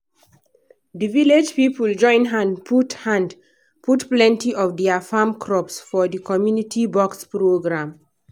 the village people join hand put hand put plenty of their farm crops for the community box program.